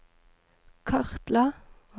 kartla